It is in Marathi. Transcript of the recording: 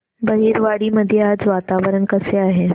बहिरवाडी मध्ये आज वातावरण कसे आहे